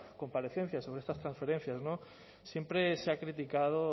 comparecencias sobre estas transferencias siempre se ha criticado